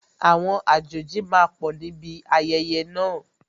Àwọn àjòjì máa pọ̀ níbi ayẹyẹ náà